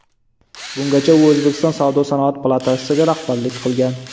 Bungacha u O‘zbekiston Savdo-sanoat palatasiga rahbarlik qilgan.